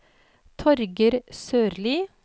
Torger Sørli